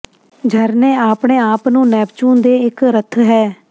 ਝਰਨੇ ਆਪਣੇ ਆਪ ਨੂੰ ਨੈਪਚੂਨ ਦੇ ਇੱਕ ਰੱਥ ਹੈ